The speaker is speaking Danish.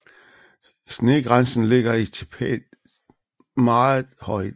Snegrænsen ligger i Tibet meget højt